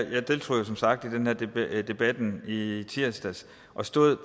jeg deltog jo som sagt i debatten i tirsdags og stod